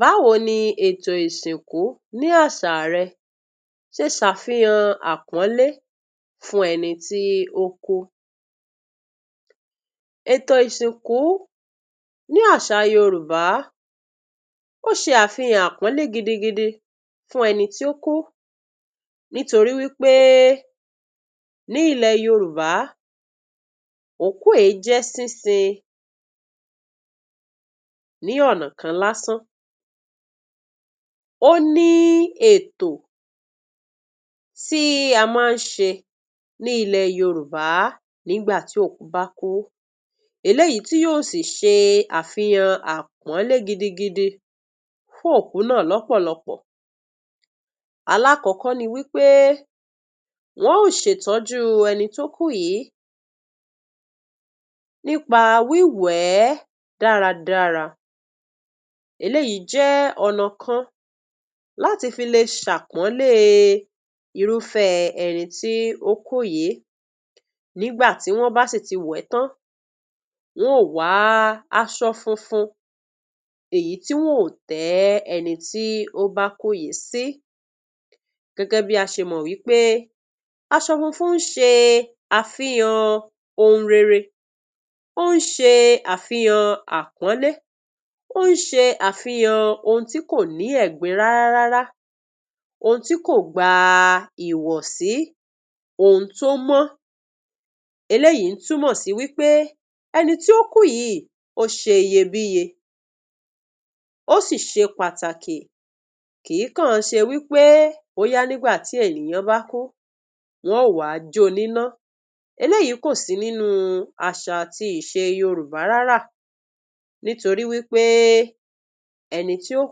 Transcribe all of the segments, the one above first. Báwo ni ètò ìsìnkú ní àṣà rẹ ṣe ṣàfihàn àpọ́nlé fún ẹni tí ó kú? Ètò ìsìnkú ní àṣá Yorùbá, ó ṣe àfihàn àpọ́nlé gidigidi fún ẹni tí ó kú nítorí wí pé ní ilẹ̀ Yorùbá, òkú è jẹ́ sínsin ní ọ̀nà kan lásán. Ó ní ètò tí a máa ń ṣe ní ilẹ̀ Yorùbá nígbà tí òkú bá kú eléyìí tí yó sì ṣe àfihàn àpọ́nlé gidigid fún òkú náà lọ́pọ̀lọpọ̀. Alákọ̀ọ́kọ́ ni wí pé wọn ó ṣètọ́jú ẹni tó kú yìí nípa wí wẹ̀ ẹ́ dáradára. Eléyìí jẹ́ ọ̀nà kan láti fi le ṣàpọ́nlé irúfẹ́ẹ ẹni tí ó kú yìí. Nígbà tí wọ́n bá sì ti wẹ̀ ẹ́ tán, wọ́n ò wá aṣọ funfun èyí tí wọ́n ò tẹ́ ẹni tí ó bá kú yìí sí. Gẹ́gẹ́ bí a ṣe mọ̀ wí pé aṣọ funfun ń ṣe àfihàn ohun rere, ó ń ṣe àfihàn àpọ́nlé, ó ń ṣe àfihàn ohun tí kò ní ẹ̀gbin rárárá, ohun tí kò gba ìwọ̀sí, ohun tó mọ́. Eléyìí ń túnmọ̀ sí wí pé ẹni tí ó kú yìí ó ṣe iyebíye, ó sì ṣe pàtàkì kìí kan ṣe wí pé bóyá nígbà tí ènìyàn bá kú, wọ́n ó wá jó o níná. Eléyìí kò sí nínú àṣà àti ìṣe Yorùbá rárá nítorí wí pé ẹni tí ó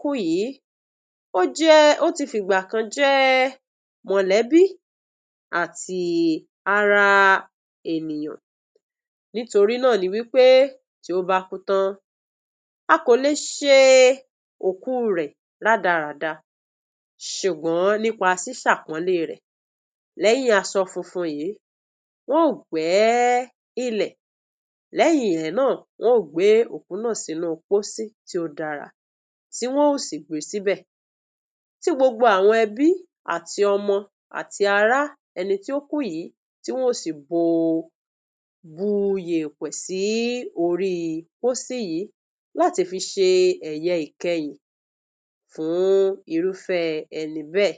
kú yìí, ó jẹ́, ó ti fìgbà kan jẹ́ mọ̀lẹ́bí àtí ara ènìyàn. Nítorí náà ni wí pé tí ó bá kú tán, a kò le ṣe ókú rẹ̀ rádaràda, ṣùgbọ́n nípa ṣíṣàpọ́nlé rẹ̀. lẹ́yín aṣọ funfun yìí, wọ́n ò gbẹ́ ilẹ̀, lẹ́yìn ẹ̀ náà, wọ́n ò gbé òkú náà sínú pósí tí ó dára, tí wọ́n ò sì pé síbẹ̀, tí gbogbo àwọn ẹbí àti ọmọ, àti ará ẹni tí ó kú yìí, tí wọ́n ó sì bo, bu yèèpẹ̀ sí orí pósí yìí láti fi ṣe ẹ̀yẹ ìkẹyìn fún irúfẹ́ẹ ẹni bẹ́ẹ̀.